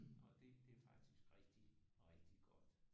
Og det det er faktisk rigtig rigtig godt